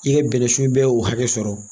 I ka bɛnɛsu bɛɛ hakɛ sɔrɔ